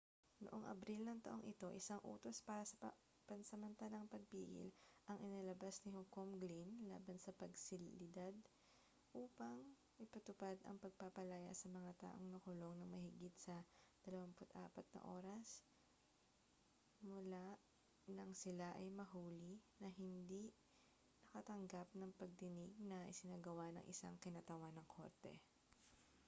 noong abril ng taong ito isang utos para sa pansamantalang pagpigil ang inilabas ni hukom glynn laban sa pasilidad upang ipatupad ang pagpapalaya sa mga taong nakulong nang mahigit sa 24 oras mula nang sila ay mahuli na hindi nakatanggap ng pagdinig na isinagawa ng isang kinatawan ng korte